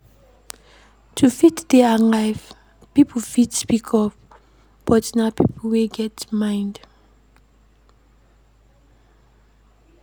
To fit dey alive pipo fit speak up but na pipo wey get mind